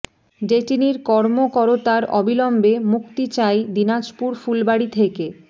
ডেটিনির করর্ম করতার অবিলম্বে মুক্তি চাই দিনাজপুর ফুলবাড়ি থেকে